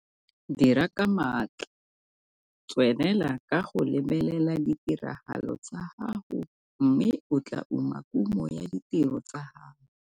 Dira ka maatla, tswelela ka go lebelela ditiragalo tsa gago mme o tlaa uma kumo ya ditiro tsa gago.